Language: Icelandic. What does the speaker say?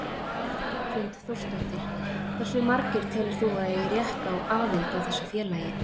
Hrund Þórsdóttir: Hversu margir telur þú að eigi rétt á aðild á þessu félagi?